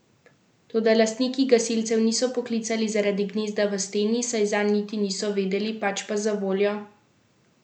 Toda lastniki gasilcev niso poklicali zaradi gnezda v steni, saj zanj niti niso vedeli, pač pa zavoljo tistega, ki so si ga čebele zgradile zunaj, na drevesu.